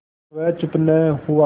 वह चुप न हुआ